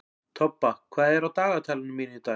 Tobba, hvað er á dagatalinu mínu í dag?